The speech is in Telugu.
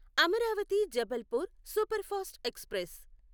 Amaravati Jabalpur superfast express